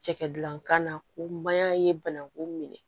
Cɛkɛdankan na ko mayan ye bananku minɛ